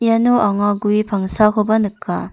iano anga gue pangsakoba nika.